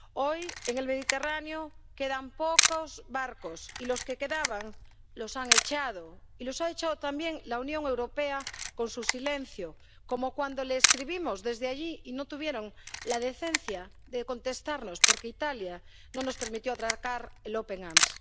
Hoy, en el Mediterráneo, quedan pocos barcos, y los que quedaban los han echado, y los ha echado también la Unión Europea con su silencio, como cuando le escribimos desde allí y no tuvieron la decencia de contestarnos porque Italia no nos permitió atracar el Open Arms.